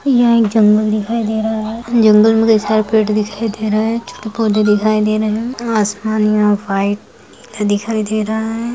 यह एक जंगल दिखाई दे रहा है जंगल मे ढेर सारे पेड़ दिखाई दे रहे है छोटे पौधे दिखाई दे रहा है आसमान यहाँ वाइट दिखाई दे रहा है।